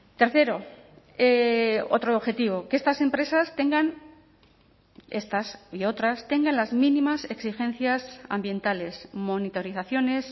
tercero otro objetivo que estas empresas tengan estas y otras tengan las mínimas exigencias ambientales monitorizaciones